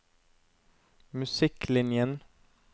musikklinjen